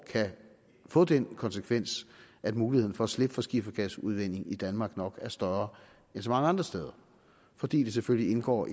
kan få den konsekvens at muligheden for at slippe for skifergasudvinding i danmark nok er større end så mange andre steder fordi det selvfølgelig indgår